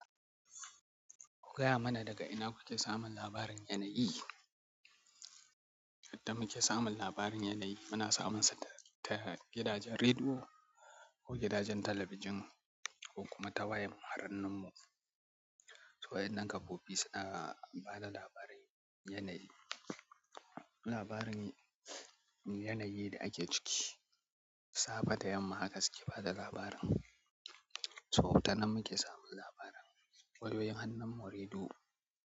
Gaya mana daga ina kuke samun labarin yanayi? Yadda muke samun labarin yanayi muna samunsa ta gidajen rediyo ko gidajen talabijin ko kuma ta wayar hannun mu. So waƴannan kafofi suna bada labaran yanayi. Labarin yanayi da ake ciki, safe da yamma haka suke bada labarin. So, tanan muke samun labaran wayoyin hannun mu, rediyo.